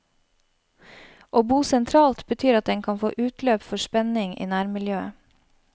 Å bo sentralt betyr at en kan få utløp for spenning i nærmiljøet.